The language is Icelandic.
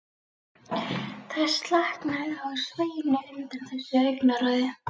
Það slaknaði á Sveini undan þessu augnaráði.